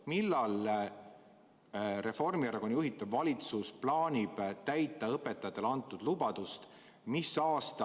Millal Reformierakonna juhitav valitsus plaanib täita õpetajatele antud lubadust?